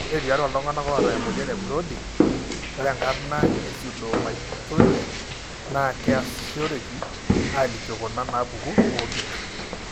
Ore tiatua iltung'anak oata emuoyian eBrody, ore enkarna epseudomyotonia naa keasisoreki aalikioo kuna naapuku oompit.